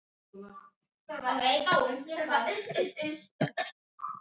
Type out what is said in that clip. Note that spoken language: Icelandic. SOPHUS: Þennan lækni á að reka úr embætti.